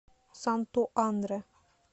санту андре